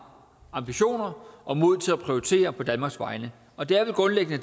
ambitioner og mod til at prioritere på danmarks vegne og det